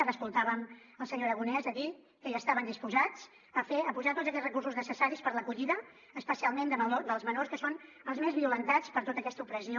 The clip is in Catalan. ara escoltàvem el senyor aragonès a dir que ja estaven disposats a fer a posar tots aquests recursos necessaris per a l’acollida especialment dels menors que són els més violentats per tota aquesta opressió